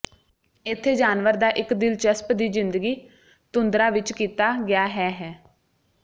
ਇੱਥੇ ਜਾਨਵਰ ਦਾ ਇੱਕ ਦਿਲਚਸਪ ਦੀ ਜ਼ਿੰਦਗੀ ਤੁੰਦਰਾ ਵਿਚ ਕੀਤਾ ਗਿਆ ਹੈ ਹੈ